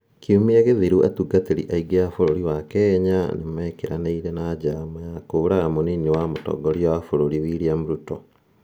Kiumia githiru, atungatiri aingi a bururi wa Kenya ni mekiraniire na njama ya kuuraga munini wa mutongoria wa bururi William Ruto.